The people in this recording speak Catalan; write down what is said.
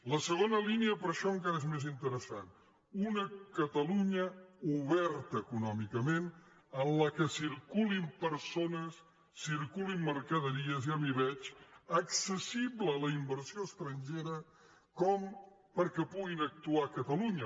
la segona línia per això encara és més interessant una catalunya oberta econòmicament en què circu·lin persones circulin mercaderies ja m’hi veig ac·cessible a la inversió estrangera com perquè puguin actuar a catalunya